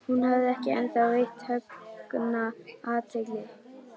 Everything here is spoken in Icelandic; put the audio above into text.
Hún hafði ekki ennþá veitt Högna athygli.